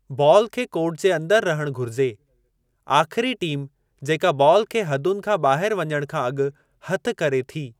Ball खे court जे अंदरि रहण घुरिजे, आख़िरी टीम जेका बॉलु खे हदुनि खां ॿाहिरि वञणु खां अॻु हथ करे थी।